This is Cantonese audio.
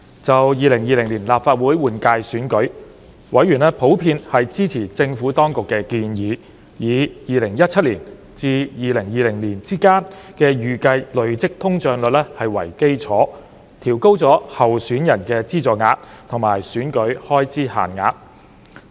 就2020年立法會換屆選舉，委員普遍支持政府當局建議，以2017年至2020年之間的預計累積通脹率為基礎，調高候選人的資助額及選舉開支限額。